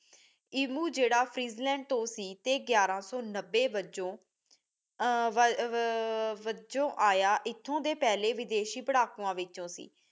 ਇਮੁ ਜਿਹੜਾ ਫ੍ਰਿਜ੍ਲੈੰਡ ਤੋਂ ਸੀ ਤੇ ਗਿਆਰਾ ਸੋ ਨਬੇ ਵਜੋ ਅਹ ਵਜੋ ਇਥੇ ਆਇਆ ਏਥੋਂ ਦੇ ਪਹਿਲੇ ਵਿਦੇਸ਼ੀ ਪੜਾਕੂਆ ਵਿਚੋ ਸੀ